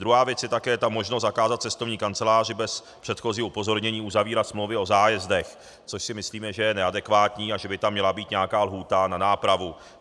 Druhá věc je také ta možnost zakázat cestovní kanceláři bez předchozího upozornění uzavírat smlouvy o zájezdech, což si myslíme, že je neadekvátní a že by tam měla být nějaká lhůta na nápravu.